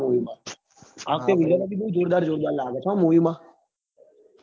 માં આ વખતે villain બી કેટલો જોરદાર લાગે છે movie માં